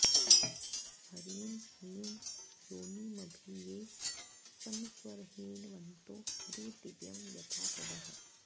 हरिं हि योनिमभि ये समस्वरन्हिन्वन्तो हरी दिव्यं यथा सदः